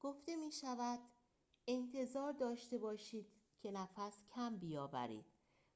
گفته می شود انتظار داشته باشید که نفس کم بیاورید